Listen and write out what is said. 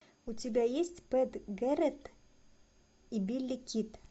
у тебя есть пэт гэрретт и билли кид